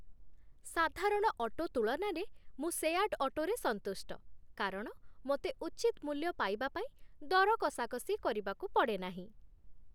ସାଧାରଣ ଅଟୋ ତୁଳନାରେ, ମୁଁ ସେୟାର୍ଡ଼ ଅଟୋରେ ସନ୍ତୁଷ୍ଟ କାରଣ ମୋତେ ଉଚିତ ମୂଲ୍ୟ ପାଇବା ପାଇଁ ଦର କଷାକଷି କରିବାକୁ ପଡ଼େ ନାହିଁ।